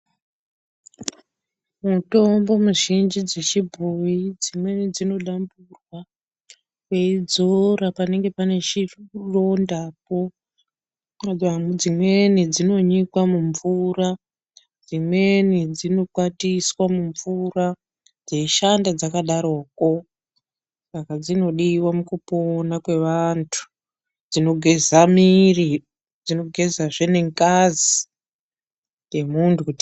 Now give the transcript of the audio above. Mutombo mizhinji dzechibhoyi dzimweni dzinodamburwa, weidzora panenge paine chirondapo. Dzimweni dzinonyikwa mumvura, dzimweni dzinokwatiswa mumvura dzeishanda dzakadaroko. Saka dzinodiwa mukupona kwevantu, dzinogeza muiri, dzinogezazve nengazi yemuntu kuti.....